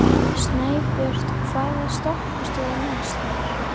Snæbjört, hvaða stoppistöð er næst mér?